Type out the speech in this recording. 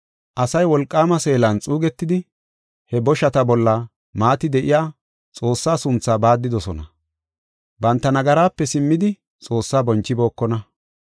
Asay wolqaama seelan xuugetidi, he boshata bolla maati de7iya Xoossaa sunthaa baaddidosona; banta nagaraape simmidi Xoossaa bonchibookona.